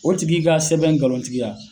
O tigi ka sɛbɛn ngalontigiya